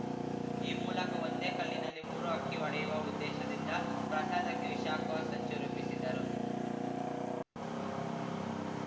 ಈ ಮೂಲಕ ಒಂದೇ ಕಲ್ಲಿನಲ್ಲಿ ಮೂರು ಹಕ್ಕಿ ಹೊಡೆಯುವ ಉದ್ದೇಶದಿಂದ ಪ್ರಸಾದಕ್ಕೆ ವಿಷ ಹಾಕುವ ಸಂಚು ರೂಪಿಸಿದ್ದರು